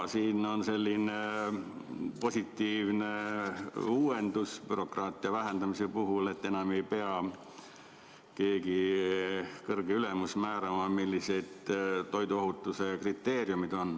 Siin on selline positiivne uuendus bürokraatia vähendamise puhul, et enam ei pea keegi kõrge ülemus määrama, millised on toiduohutuse kriteeriumid.